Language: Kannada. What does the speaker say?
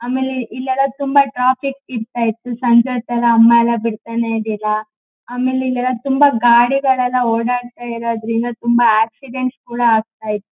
ಆಮೇಲೆ ಇಲ್ಲೆಲ್ಲಾ ತುಂಬಾ ಟ್ರಾಫಿಕ್ ಇರತ್ತಾ ಇತ್ತು ಸಂಜೆ ತರ ಅಮ್ಮಾ ಎಲ್ಲಾ ಬಿಡತ್ತಾನೇ ಇರಲಿಲ್ಲಾ ಆಮೇಲೆ ಇಲೆಲ್ಲಾ ತುಂಬಾ ಗಾಡಿಗಳೆಲ್ಲಾ ಓಡಾತ್ತ ಇರೋದ್ರಿಂದ ತುಂಬಾ ಆಕ್ಸಿಡೆಂಟ್ ಕೂಡ ಆಗತ್ತಾ--